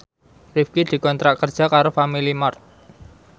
Rifqi dikontrak kerja karo Family Mart